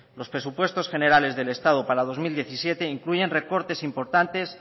los presupuestos generales del estado dos mil diecisiete incluyen recortes importantes